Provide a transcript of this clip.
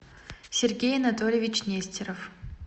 сергей анатольевич нестеров